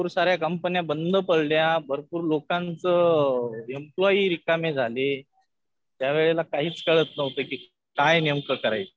भरपूर साऱ्या कंपंन्या बंद पडल्या. भरपूर लोकांचं एम्प्लॉयी रिकामे झाले. त्यावेळेला काहीच कळत नव्हतं कि काय नेमकं करायचं.